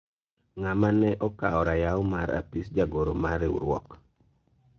ng'ama ne okawo rayaw mar apis jagoro mar riwruok ?